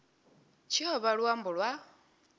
tshi o vha luambo lwa